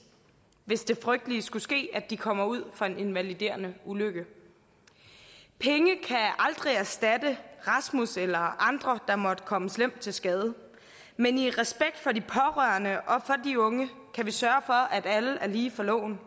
hvis det frygtelige skulle ske at de kommer ud for en invaliderende ulykke penge kan aldrig erstatte rasmus eller andre der måtte komme slemt til skade men i respekt for de pårørende og for de unge kan vi sørge for at alle er lige for loven